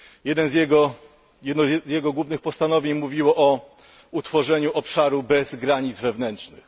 Jedno z jego głównych postanowień mówiło o utworzeniu obszaru bez granic wewnętrznych.